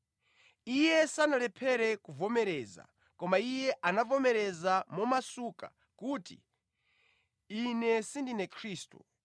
Iye sanalephere kuvomereza, koma iye anavomereza momasuka kuti, “Ine sindine Khristu.”